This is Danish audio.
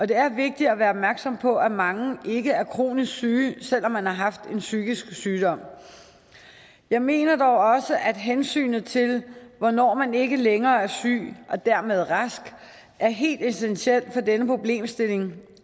det er vigtigt at være opmærksom på at mange ikke er kronisk syge selv om de har haft en psykisk sygdom jeg mener dog også at hensynet til hvornår man ikke længere er syg og dermed er rask er helt essentiel for denne problemstilling